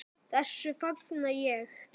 Þessu fagna ég.